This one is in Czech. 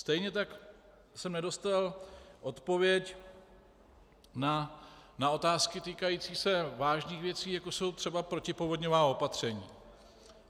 Stejně tak jsem nedostal odpověď na otázky týkající se vážných věcí, jako jsou třeba protipovodňová opatření.